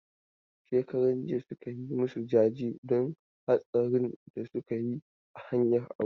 Shekaran jiya suka yi masu jaje don hatsarin da suka yi a hanyar Abuja.